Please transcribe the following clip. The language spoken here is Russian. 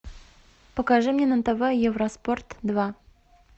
покажи мне на тв евроспорт два